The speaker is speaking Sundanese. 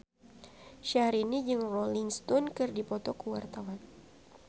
Syahrini jeung Rolling Stone keur dipoto ku wartawan